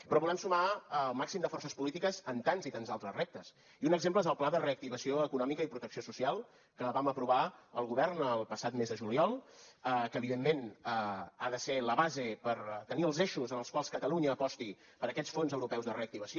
però volem sumar el màxim de forces polítiques en tants i tants altres reptes i un exemple és el pla de reactivació econòmica i protecció social que vam aprovar el govern el passat mes de juliol que evidentment ha de ser la base per tenir els eixos en els quals catalunya aposti per aquests fons europeus de reactivació